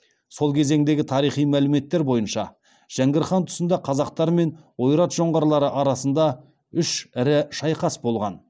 сол кезеңдегі тарихи мәліметтер бойынша жәңгір хан тұсында қазақтар мен ойрат жоңғарлары арасында үш ірі шайқас болған